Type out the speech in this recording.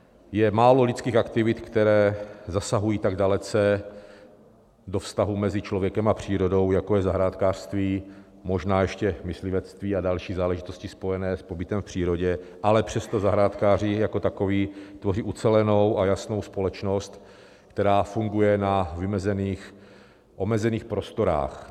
Je málo lidských aktivit, které zasahují tak dalece do vztahu mezi člověkem a přírodou, jako je zahrádkářství, možná ještě myslivectví a další záležitosti spojené s pobytem v přírodě, ale přesto zahrádkáři jako takoví tvoří ucelenou a jasnou společnost, která funguje na vymezených, omezených prostorách.